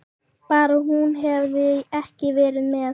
Bara hún hefði ekki verið með.